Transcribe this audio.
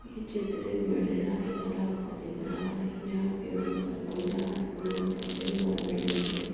ये चित्र एक बड़े सारे तालाब का दिख रहा है जहां पे ऊपर खुला आसमान सफेद बादल दिख रहे--